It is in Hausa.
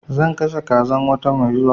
Zan kashe kazan wata mai zuwa